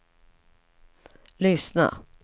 lyssna